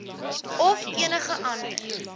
of enige ander